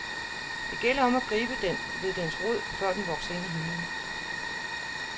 Det gælder om at gribe den ved dens rod, før den vokser ind i himlen.